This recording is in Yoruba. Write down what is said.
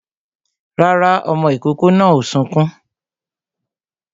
Rárá, ọmọ ìkòkò náà ò sunkún